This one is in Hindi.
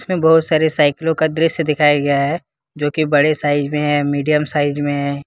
यहां पर काफी सारे साइकिलों का दृश्य दिखाया गया है जो बड़े साइज में है मीडियम साइज में है।